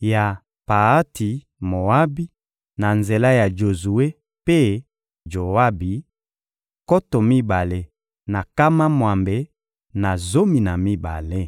ya Paati-Moabi na nzela ya Jozue mpe Joabi: nkoto mibale na nkama mwambe na zomi na mibale.